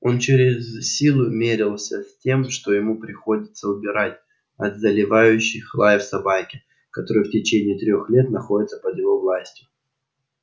он через силу мерился с тем что ему приходится убирать от заливающих лаев собаки которые в течение трёх лет находится под его властью